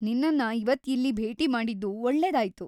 ನಿನ್ನನ್ನ ಇವತ್ ಇಲ್ಲಿ ಭೇಟಿ ಮಾಡಿದ್ದು ಒಳ್ಳೆದಾಯ್ತು.